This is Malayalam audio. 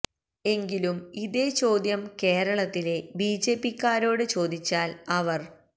എങ്കിലും ഇതേ ചോദ്യം കേരളത്തിലെ ബി ജെ പിക്കാരോട് ചോദിച്ചാൽ അവർ